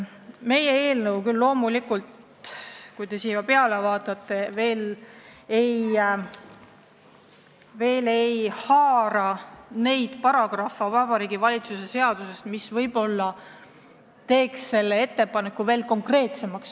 Meie eelnõu küll ei haara neid paragrahve Vabariigi Valitsuse seadusest, mis võib-olla teeks selle ettepaneku veel konkreetsemaks.